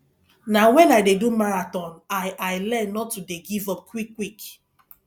na wen i dey do marathon i i learn not to dey giveup quickquick